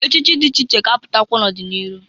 Echichi dị iche iche ga-apụtakwa n'ọdị n'iru.